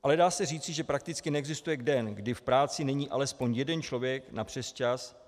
Ale dá se říci, že prakticky neexistuje den, kdy v práci není alespoň jeden člověk na přesčas.